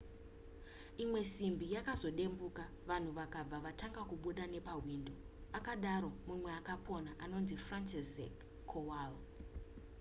imwe simbi yakazodembuka vanhu vakabva vatanga kubuda nepahwindo akadaro mumwe akapona anonzi franciszek kowal